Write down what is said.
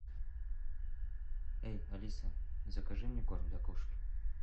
эй алиса закажи мне корм для кошек